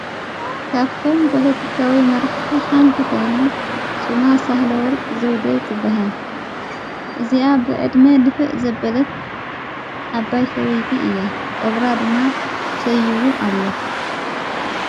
ካፍቶም ፖሎቲካዊ መራሕቲ ሓንቲ ኾይና ሽማ ሳሕለ ወርቅ ዘውደ ትበሃል እዚኣ ብዕድሜ ድፍእ ዘበለት ሰበይቲ እያ ጨብራ ድማ ሰይዉ ኣሎ፡፡